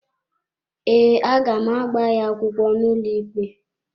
Ee, a ga m agba ya akwụkwọ n’ụlọikpe.